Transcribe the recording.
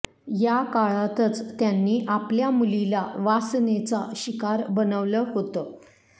याकाळातचं त्यांनी आपल्या मुलीला वासनेचा शिकार बनवलं होतं